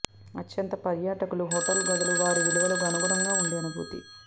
అత్యంత పర్యాటకులు హోటల్ గదులు వారి విలువలు అనుగుణంగా ఉండే అనుభూతి